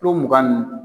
Kulo mugan ninnu